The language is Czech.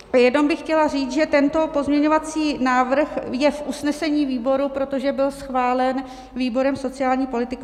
Jenom bych chtěla říct, že tento pozměňovací návrh je v usnesení výboru, protože byl schválen výborem sociální politiky.